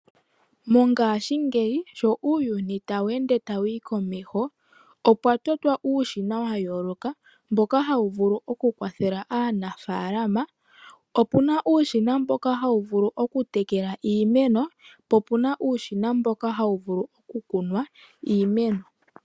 Mongashingeyi sho uuyuni tawu ende tawu yi komeho opwa totwa uushina wa yooloka mboka hawu vulu okukwathela aanafalama .Opuna uushina mboka hawu vulu okutekela iimeno po opuna uushina mboka hawu vulu okukuna iimeno.